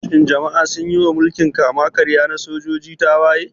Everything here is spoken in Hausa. Shin jama'a sun yi wa mulkin kama-karya na sojoji tawaye?